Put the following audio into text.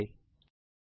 ಎಂದು ಟೈಪ್ ಮಾಡಿ